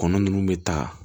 Kɔnɔ nunnu bɛ ta